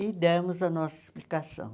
E demos a nossa explicação.